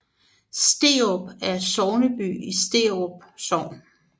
Sterup er sogneby i Sterup Sogn